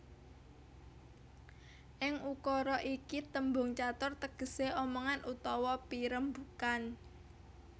Ing ukara iki tembung catur tegesé omongan utawa pirembugan